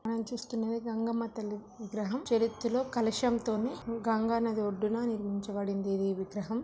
మనం చూస్తున్నది గంగమ్మ తల్లి విగ్రహం ఆ చేతిలో కలశం తోని గంగానది వడ్డున నిర్మించ బడింది ఈ విగ్రహం